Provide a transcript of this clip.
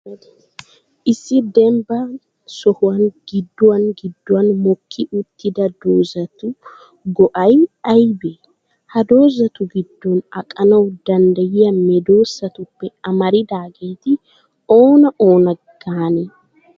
Issi dembban sohuwan gidduwan gidduwan mokki uttida dozzati go'ay ayibee? Ha dozzatu giddon aqanawu danddayyiya medoossatuppe amaridaageeti oona oona gaanee?